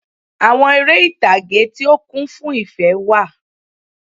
Àwon eré ìtàge tí ó kún fún ìfé wà